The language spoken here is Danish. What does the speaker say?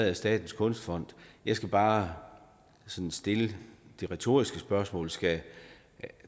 af statens kunstfond jeg skal bare sådan stille det retoriske spørgsmål skal